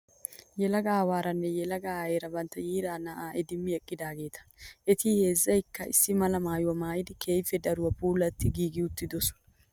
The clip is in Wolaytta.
Yelaga aawaaraanne yelaga aayeera bantta yiiraa na'aa idimmidi eqqidaageeta. Eti heezzayikka issi mala maayyuwaa maayidi keehippe daruwaa puulaatti giigi uttidosona.